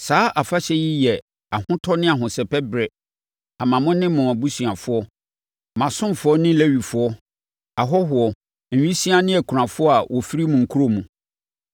Saa afahyɛ yi bɛyɛ ahotɔ ne ahosɛpɛ berɛ ama mo ne mo abusuafoɔ, mo asomfoɔ ne Lewifoɔ, ahɔhoɔ, nwisiaa ne akunafoɔ a wɔfiri mo nkuro mu.